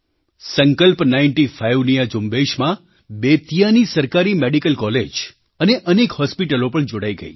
સંકલ્પ નાઇન્ટી ફાઇવની આ ઝુંબેશમાં બેતિયાની સરકારી મેડિકલ કૉલેજ અને અનેક હૉસ્પિટલો પણ જોડાઈ ગઈ